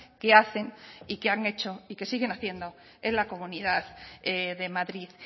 que hacen y que han hecho y que siguen haciendo en la comunidad de madrid